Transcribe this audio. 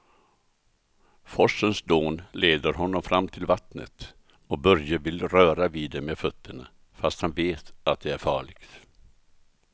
Forsens dån leder honom fram till vattnet och Börje vill röra vid det med fötterna, fast han vet att det är farligt.